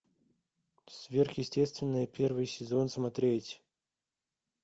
сверхъестественное первый сезон смотреть